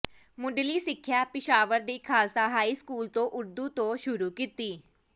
ਮੁਢਲ਼ੀ ਸਿੱਖਿਆ ਪਿਸ਼ਾਵਰ ਦੇ Khalsa high school ਤੋਂ ਉਰਦੂ ਤੋਂ ਸੁਰੂ ਕੀਤੀ